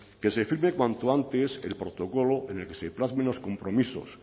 que se firme cuanto antes el protocolo en el que se plasmen los compromisos